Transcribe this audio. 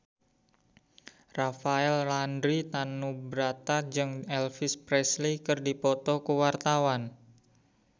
Rafael Landry Tanubrata jeung Elvis Presley keur dipoto ku wartawan